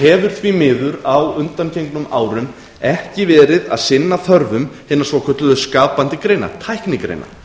hefur því miður á undangengnum árum ekki verið að sinna þörfum hinna svokölluðu skapandi greina tæknigreina